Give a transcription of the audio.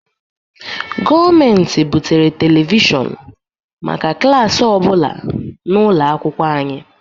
Gọọmentị butere televishọn maka klaasị ọbụla n;ụlọ akwụkwọ anyị.